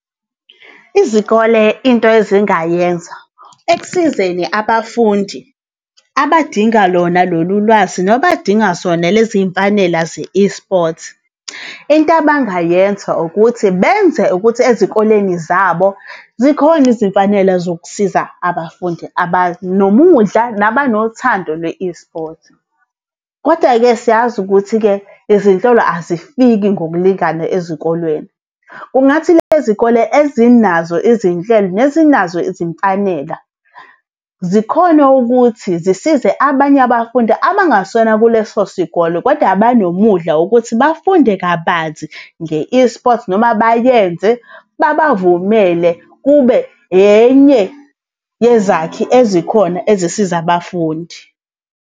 Izikole into ezingayenza ekusizeni abafundi abadinga lona lolu lwazi nabadinga zona lezi y'mfanela ze-eSport. Into bangayenza ukuthi benze ukuthi ezikoleni zabo zikhona izimfanela zokusiza abafundi abanomudla, nabanothando lwe-eSport. Koda-ke siyazi ukuthi-ke izinhlelo azifiki ngokulingana ezikolweni. Kungathi le zikole ezinazo izinhlelo nezinazo izimfanela zikhone ukuthi zisize abanye abafundi abangasona kuleso sikole koda abanomudla ukuthi bafunde kabanzi nge-eSport noma bayenze, babavumele kube enye yezakhi ezikhona ezisiza abafundi.